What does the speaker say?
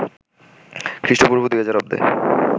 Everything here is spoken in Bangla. খ্রিস্টপূর্ব ২০০০ অব্দে